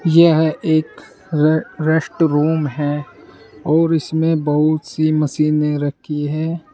यह एक रे रेस्ट रूम है और इसमें बहुत सी मशीने रखी है।